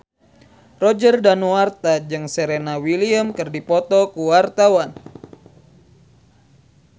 Roger Danuarta jeung Serena Williams keur dipoto ku wartawan